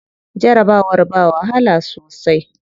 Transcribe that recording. Jarabawar ba wahala sosai.